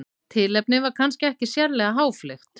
Tilefnið var kannski ekki sérlega háfleygt.